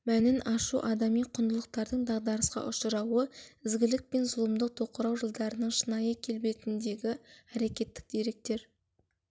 мәнін ашу адами құндылықтардың дағдарысқа ұшырауы ізгілік пен зұлымдық тоқырау жылдарының шынайы келбетіндегі әрекеттік деректер